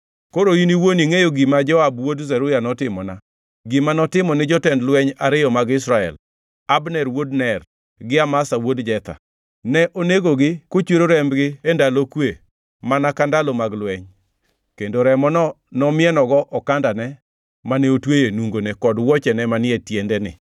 Koro in iwuon ingʼeyo gima Joab wuod Zeruya notimona, gima notimo ni jotend lweny ariyo mag Israel, Abner wuod Ner gi Amasa wuod Jetha. Ne onegogi, kochwero rembgi e ndalo kwe mana ka ndalo mag lweny kendo remono nomienogo okandane mane otweyo e nungone kod wuochene manie tiendene.